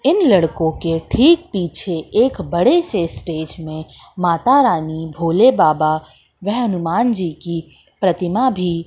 इन लड़कों के ठीक पीछे एक बड़े से स्टेज में माता रानी भोले बाबा वेह हनुमान जी की प्रतिमा भी--